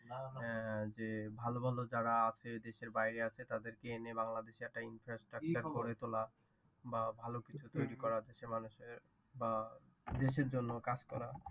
আহ যে ভালো ভালো যারা আছে দেশের বাহিরে আছে তাদের কে এনে বাংলাদেশে একটা infrastructure গড়ে তোলা। বা ভালো কিছু তৈরী করা দেশের মানুষের বা দেশের জন্য কাজ করা।